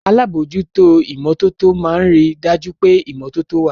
Alábòójútó ìmọ́tótó máa ń rí dájú pé ìmọ́tótó wà